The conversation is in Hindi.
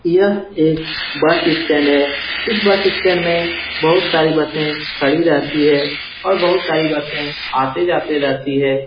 यह एक बस स्टैंड है इस बस स्टैंड में बहुत सारी बसें खड़ी रहती है और बहुत सारी बसें आते-जाते रहती है।